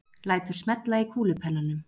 Lætur smella í kúlupennanum.